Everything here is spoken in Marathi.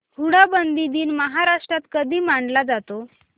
हुंडाबंदी दिन महाराष्ट्रात कधी मानला जातो